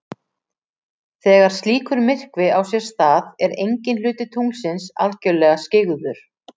Þegar slíkur myrkvi á sér stað er enginn hluti tunglsins algjörlega skyggður.